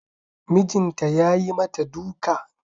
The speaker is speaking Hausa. Mijinta yayi mata duka